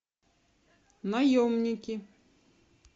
наемники